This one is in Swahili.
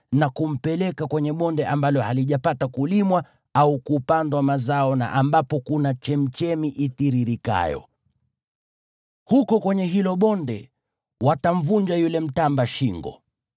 na kumpeleka kwenye bonde ambalo halijapata kulimwa au kupandwa mazao na ambapo kuna chemchemi itiririkayo. Huko kwenye hilo bonde, wazee watamvunja yule mtamba shingo.